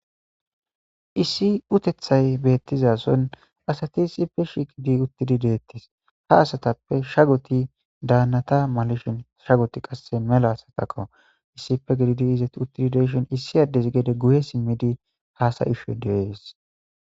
issi utethay beettizason asati issipfe shiqidi uttidi deettis ha asatappe shagoti daannata malishin shagoti qasse mela asatako issipfe gididi izet uttidi deeshon issi addesi gede guye simmidi haasayishe deees